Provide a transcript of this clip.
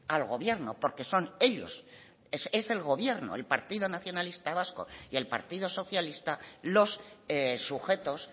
al gobierno porque son ellos es el gobierno el partido nacionalista vasco y el partido socialista los sujetos